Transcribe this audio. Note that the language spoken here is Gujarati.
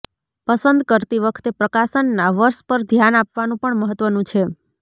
પસંદ કરતી વખતે પ્રકાશનના વર્ષ પર ધ્યાન આપવાનું પણ મહત્વનું છે